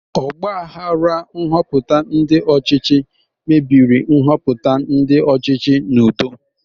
Ọgbaghara nhoputa ndi ochichi mebiri nhoputa ndi ochichi n'udo.